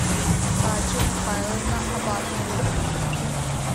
гаджа михайловна абашева